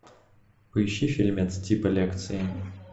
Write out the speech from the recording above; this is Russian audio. поищи фильмец типа лекции